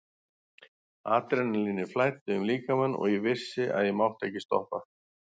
Adrenalínið flæddi um líkamann og ég vissi að ég mátti ekki stoppa.